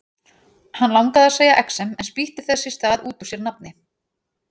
Hann langaði að segja exem en spýtti þess í stað út úr sér nafni